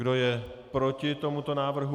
Kdo je proti tomuto návrhu?